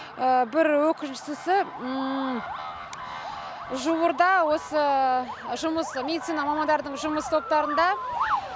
бір өкініштісі жуырда осы жұмыс медицина мамандарының жұмыс топтарында